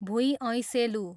भुइँ ऐँसेलु